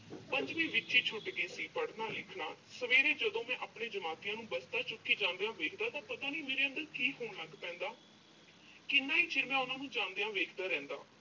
ਪੰਜਵੀਂ ਵਿੱਚ ਹੀ ਛੁੱਟ ਗਿਆ ਸੀ, ਪੜ੍ਹਨਾ-ਲਿਖਣਾ। ਸਵੇਰੇ ਜਦੋਂ ਮੈਂ ਆਪਣੇ ਜਮਾਤੀਆਂ ਨੂੰ ਬਸਤਾ ਚੁੱਕੀ ਜਾਂਦਿਆਂ ਵੇਖਦਾ ਤਾਂ ਪਤਾ ਨੀਂ ਮੇਰੇ ਅੰਦਰ ਕੀ ਹੋਣ ਲੱਗ ਪੈਂਦਾ। ਕਿੰਨਾ ਹੀ ਚਿਰ ਮੈਂ ਉਨ੍ਹਾਂ ਨੂੰ ਜਾਂਦਿਆਂ ਵੇਖਦਾ ਰਹਿੰਦਾ।